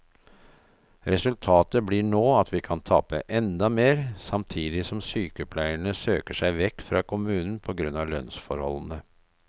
Resultatet blir nå at vi kan tape enda mer, samtidig som sykepleierne søker seg vekk fra kommunen på grunn av lønnsforholdene.